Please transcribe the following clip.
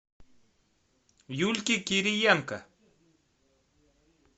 юльке кириенко